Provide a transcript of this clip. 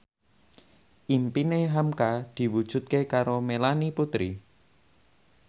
impine hamka diwujudke karo Melanie Putri